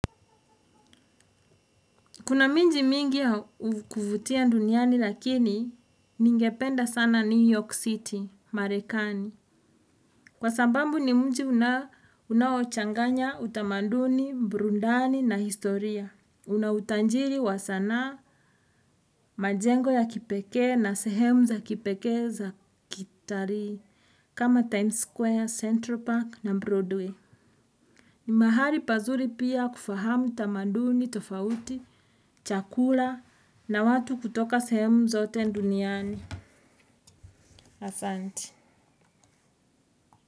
Kuna miji mingi ya kuvutia duniani, lakini ningependa sana New York City, Marekani. Kwa sababu ni mji unaochanganya utamaduni, burudani na historia. Una utajiri wa sanaa, majengo ya kipekee na sehemu za kipekee za kitalii. Kama Times Square, Central Park na Broadway. Ni mahali pazuri pia kufahamu tamaduni tofauti, chakula na watu kutoka sehemu zote duniani.